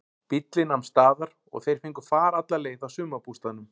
Bíllinn nam staðar og þeir fengu far alla leið að sumarbústaðnum.